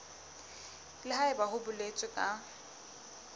le haebe ho boletswe ka